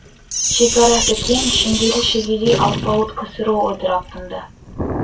шекарасы кең шеңгелі шегедей алпауыт ксро ыдырап тынды